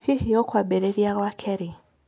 Hihi ũkwambĩrĩria gwaka rĩ?